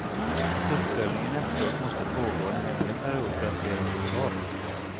Att uppföljningen efteråt måste pågå en längre period för att ge resultat.